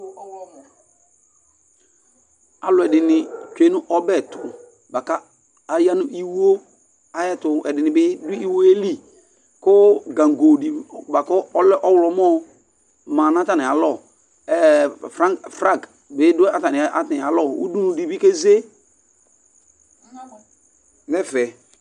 Alʋɛdìní tsʋe nʋ ɔbɛ tu bʋakʋ aya nʋ iwo ayɛtʋ Ɛdiní bi du iwo ye li kʋ gango di bʋakʋ ɔlɛ mʋ ɔwlɔmɔ ma nʋ atami alɔ Flagi bi du atami alɔ Ʋdʋnu bi keze nʋ ɛfɛ